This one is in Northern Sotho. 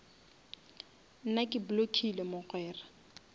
nna ke blockile mogwera